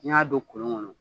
N'i y'a don kolon kɔnɔ